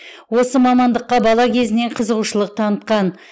осы мамандыққа бала кезінен қызығушылық танытқан